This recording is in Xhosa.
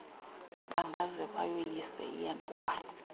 bangaze bayoyise iyantlukwano